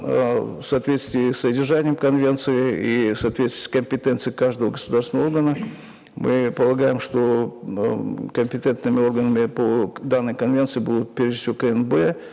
э в соответствии с содержанием конвенции и в соответствии с компетенцией каждого государственного органа мы полагаем что ы компетентными органами по данной конвенции будут прежде всего кнб